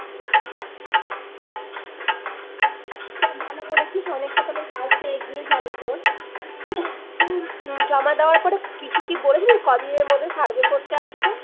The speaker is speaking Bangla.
হ্যাঁ ভালো করেছিস অনেকটা তাহলে কাজএগিয়ে যাবে তোর উহ জমা দেওয়ার পরে কিছু কি বলেছিল কদিনের মধ্যে survey করতে আসবে